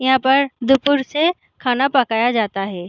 यहाँ पर दुपूर से खाना पकाया जाता है